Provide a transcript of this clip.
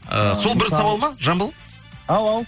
ыыы сол бір сауал ма жамбыл ау ау